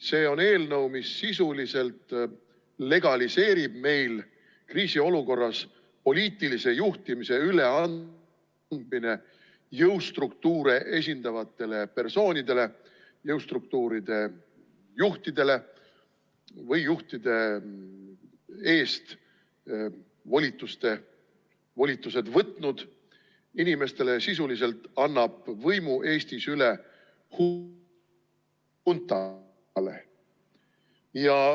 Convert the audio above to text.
See on eelnõu, mis sisuliselt legaliseerib meil kriisiolukorras poliitilise juhtimise ...... üleandmise jõustruktuure esindavatele persoonidele, jõustruktuuride juhtidele või juhtide eest volitused võtnud inimestele, sisuliselt annab võimu Eestis üle huntale.